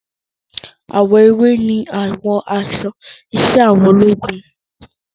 Àwọ̀ ewé ni àwọ̀ aṣọ iṣẹ́ àwọn ológun